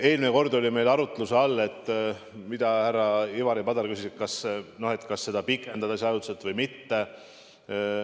Eelmine kord oli meil arutluse all , kas seda pikendada ajutiselt või mitte.